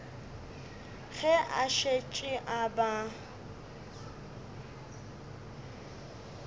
ge a šetše a ba